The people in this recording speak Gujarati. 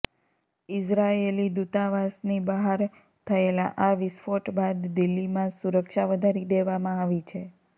ઈઝરાયેલી દૂતાવાસની બહાર થયેલા આ વિસ્ફોટ બાદ દિલ્લીમાં સુરક્ષા વધારી દેવામાં આવી છે